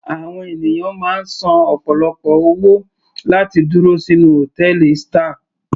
Àwọn ènìyàn máa ń san ọ̀pọ̀lọpọ̀ owó láti dúró sínú hòtẹ́ẹ̀lì star.